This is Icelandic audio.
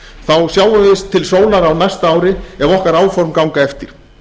þá sjáum við til sólar á næsta ári ef okkar áform ganga eftir